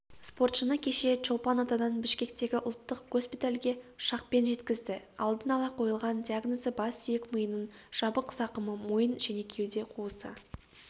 спортшыны кеше чолпан атадан бішкектегі ұлттық госпитальге ұшақпен жеткізді алдын ала қойылған диагнозы бас сүйек-миының жабық зақымы мойын және кеуде қуысы